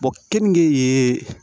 keninge ye